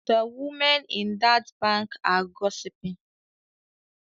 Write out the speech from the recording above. The women in that bank are gossiping